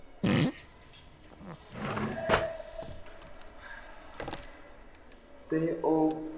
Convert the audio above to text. ਤੇ ਉਹ